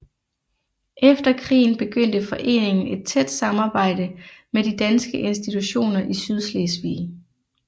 Efter krigen begyndte foreningen et tæt samarbejde med de danske institutioner i Sydslesvig